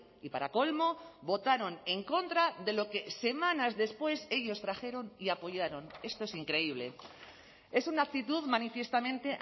y para colmo votaron en contra de lo que semanas después ellos trajeron y apoyaron esto es increíble es una actitud manifiestamente